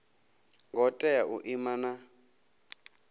ngo tea u ima na